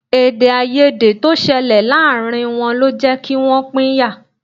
Èdèàìyedè tó ṣẹlẹ̀ láàárín wọn lọ jẹ́ kí wọ́n pínyà